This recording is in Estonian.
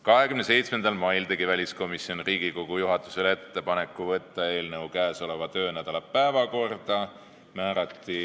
27. mail tegi väliskomisjon Riigikogu juhatusele ettepaneku võtta eelnõu käesoleva töönädala päevakorda.